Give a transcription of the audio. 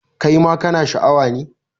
Kai ma kana Sha a wa ne?